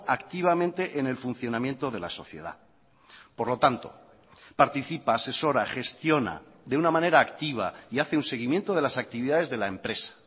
activamente en el funcionamiento de la sociedad por lo tanto participa asesora gestiona de una manera activa y hace un seguimiento de las actividades de la empresa